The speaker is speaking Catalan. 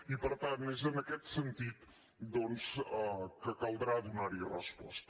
i per tant és en aquest sentit doncs que caldrà donar hi resposta